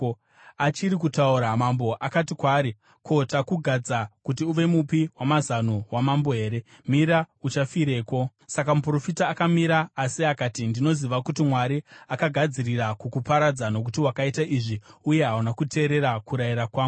Achiri kutaura, mambo akati kwaari, “Ko, takugadza kuti uve mupi wamazano wamambo here? Mira! Uchafireko?” Saka muprofita akamira, asi akati, “Ndinoziva kuti Mwari akagadzirira kukuparadza nokuti wakaita izvi, uye hauna kuteerera kurayira kwangu.”